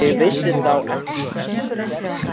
Ég vissi þá ekki hvert stefndi.